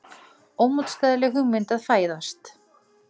Ómótstæðileg hugmynd að fæðast.